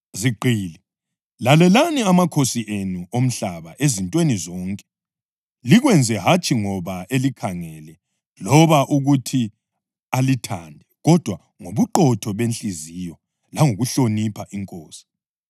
Zigqili, lalelani amakhosi enu omhlaba ezintweni zonke; likwenze hatshi ngoba elikhangele loba ukuthi alithande kodwa ngobuqotho bezinhliziyo langokuhlonipha iNkosi.